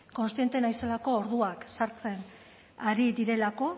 kontziente naizelako orduak sartzen ari direlako